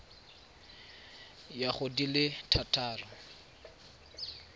ya go di le thataro